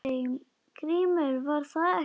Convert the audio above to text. GRÍMUR: Var það ekki!